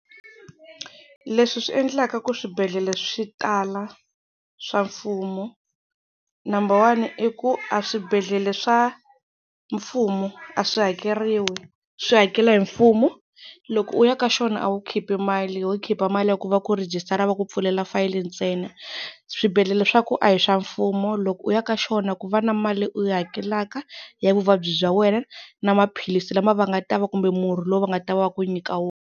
Leswi swi endlaka ku swibedhlele swi tala swa mfumo, number one i ku a swibedhlele swa mfumo a swi hakeriwi swi hakela hi mfumo. Loko u ya ka xona a wu khipi mali, ho khipa mali ya ku va ku rejistara va ku pfulela fayili ntsena. Swibedhlele swa ku a hi swa mfumo loko u ya ka xona ku va na mali u yi hakelaka ya vuvabyi bya wena na maphilisi lama va nga ta va kumbe murhi lowu va nga ta va va ku nyika wona.